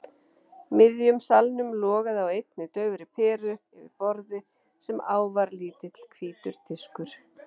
miðjum salnum logaði á einni daufri peru yfir borði sem á var lítill hvítur diskur.